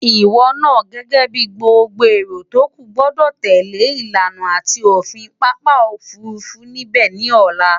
Ìwo naa gęgę bi gbogbo èrò tókù gbo̩dò̩ tèlé ìlànà àti òfin papa òfurufú níbę ni òla.